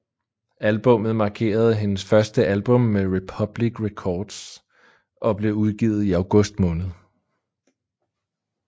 Albummet markerede hendes første album med Republic Records og blev udgivet i august måned